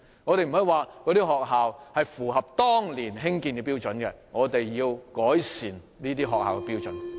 我們不應以學校的設施符合當年興建的標準為藉口，而應改善這些學校的設施。